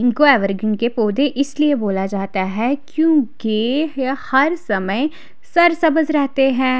इनको एवरग्रीन के पौधे इसलिए बोला जाता है क्योंकि यह हर समय सर सबस रहते है।